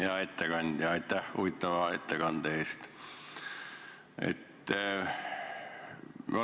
Hea ettekandja, aitäh huvitava ettekande eest!